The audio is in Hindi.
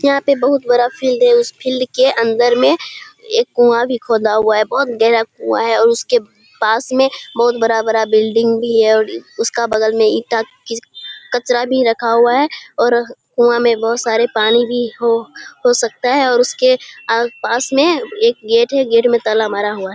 यहाँ पे बहुत बड़ा फील्ड है। उस फील्ड के अंदर में एक कुआँ भी खोदा हुआ है बहुत गहरा कुआ है और उसके पास में बहुत बड़ा-बड़ा बिल्डिंग भी है और उसका बगल में ईटा की कचरा भी रखा हुआ है और कुआँ में बहुत सारा पानी भी हो हो सकता है और उसके पास में एक गेट है और गेट में ताला मारा हुआ है।